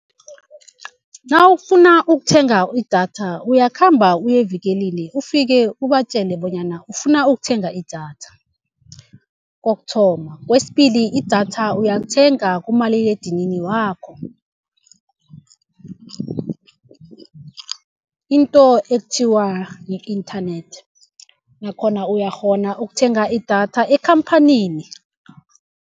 Nawufuna ukuthenga idatha uyakhamba uyevikelini ufike ubatjele bonyana ufuna ukuthenga idatha, kokuthoma. Kwesibili, idatha uyalithenga kumaliledinini wakho into ekuthiwa yi-internet nakhona uyakghona ukuthenga idatha ekhamphanini.